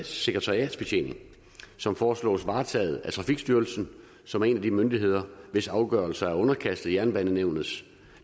sekretariatsbetjening som foreslås varetaget af trafikstyrelsen som er en af de myndigheder hvis afgørelser er underkastet jernbanenævnets